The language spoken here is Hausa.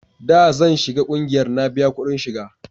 da zan shiga ƙungiyar na biya kudin shiga